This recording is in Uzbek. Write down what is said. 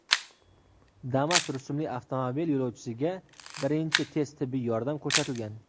Damas rusumli avtomobil yo‘lovchisiga birinchi tez tibbiy yordam ko‘rsatilgan.